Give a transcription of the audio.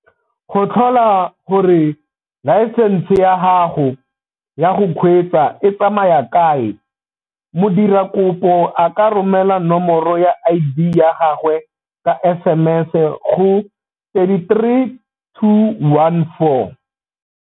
Go tlhola gore laesense ya gago ya go kgweetsa e tsamaya kae, modirakopo a ka romela nomoro ya ID ya gagwe ka SMS go 33214.